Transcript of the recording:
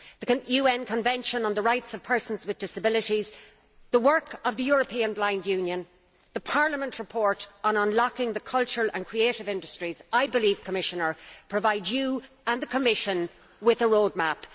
The UN Convention on the Rights of Persons with Disabilities, the work of the European Blind Union and the Parliament report on unlocking the cultural and creative industries, I believe, Commissioner, provide you and the Commission with a roadmap.